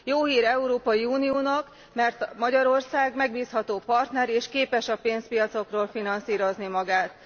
Jó hír az Európai Uniónak, mert Magyarország megbízható partner, és képes a pénzpiacokról finanszírozni magát.